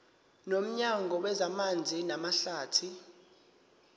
nomnyango wezamanzi namahlathi